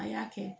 A y'a kɛ